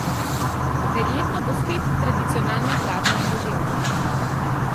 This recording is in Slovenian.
Verjetno bo spet tradicionalno hladno in deževno.